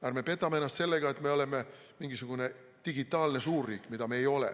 Ärme petame ennast sellega, et me oleme mingisugune digitaalne suurriik, sest seda me ei ole.